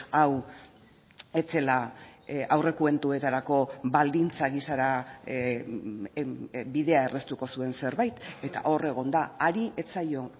hau ez zela aurrekontuetarako baldintza gisara bidea erraztuko zuen zerbait eta hor egon da hari ez zaio